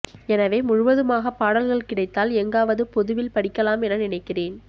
எனவே முழுவதுமாகப் பாடல்கள் கிடைத்தால் எங்காவது பொதுவில் படிக்கலாம் என நினைக்கிறேன்